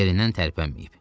Yerindən tərpənməyib.